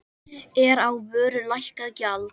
Er á vöru lækkað gjald.